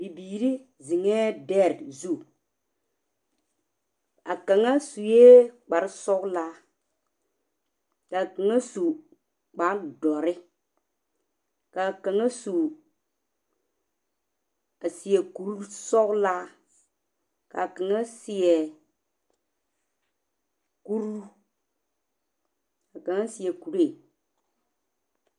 Bibiiri zeŋɛɛ dɛre zu, a kaŋa sue kparre sɔglaa, ka kaŋa su kpare dɔre, Ka kaŋa su.., a seɛ kuri sɔglaa, ka kaŋa seɛ kuri…, ka kaŋa seɛ kuree.